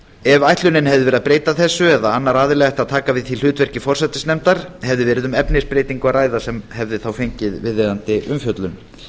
ef ætlunin hefði verið að breyta þessu eða annar aðili ætti að taka við því hlutverki forsætisnefndar hefði verið um efnisbreytingu að ræða sem hefði þá fengið viðeigandi umfjöllun